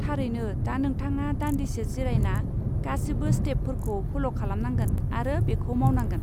थारैनो! दा नोंथाङा दान्दिसे जिरायना गासिबो स्टेपफोरखौ फल' खालामनांगोन आरो बेखौ मावनांगोन।